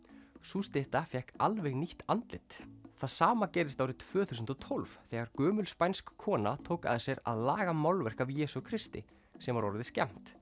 sú stytta fékk alveg nýtt andlit það sama gerðist árið tvö þúsund og tólf þegar gömul spænsk kona tók að sér að laga málverk af Jesú Kristi sem var orðið skemmt